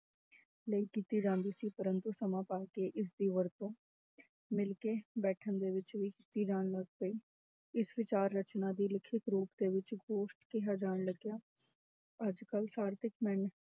ਲਈ ਕੀਤੀ ਜਾਂਦੀ ਸੀ, ਪਰੰਤੂ ਸਮਾਂ ਪਾ ਕੇ ਇਸਦੀ ਵਰਤੋਂ ਮਿਲਕੇ ਬੈਠਣ ਦੇ ਵਿੱਚ ਜਾਣ ਲੱਗ ਪਈ, ਇਸ ਵਿਚਾਰ ਰਚਨਾ ਦੀ ਲਿਖਿਤ ਰੂਪ ਦੇ ਵਿੱਚ ਗੋਸ਼ਟ ਕਿਹਾ ਜਾਣ ਲੱਗਿਆ, ਅੱਜ ਕੱਲ੍ਹ